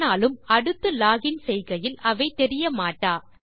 ஆனாலும் அடுத்து log in செய்கையில் அவை தெரிய மாட்டா